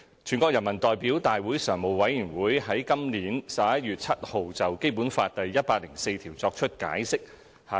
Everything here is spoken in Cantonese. "全國人民代表大會常務委員會於本年11月7日就《基本法》第一百零四條作出解釋。